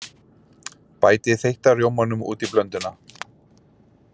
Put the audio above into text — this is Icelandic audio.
Bætið þeytta rjómanum út í blönduna.